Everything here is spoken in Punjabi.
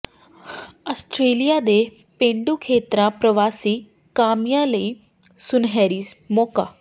ਆਸਟ੍ਰੇਲੀਆ ਦੇ ਪੇਂਡੂ ਖੇਤਰਾਂ ਪ੍ਰਵਾਸੀ ਕਾਮਿਆਂ ਲਈ ਸੁਨਹਿਰੀ ਮੌਕਾ